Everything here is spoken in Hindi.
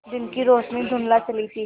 दिन की रोशनी धुँधला चली थी